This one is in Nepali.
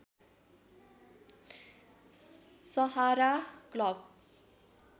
सहारा क्लब